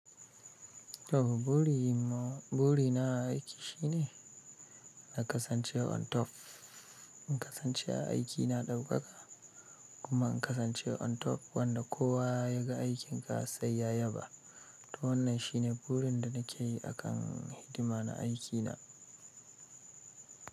To buri ma, buri na a aiki shine na kasance on top. In kasance a aiki na ɗaukaka kuma in kasance on top wanda kowa ya ga aikin ka sai ya yaba. To wannan shine burin da nake yi a kan hidima na aiki na.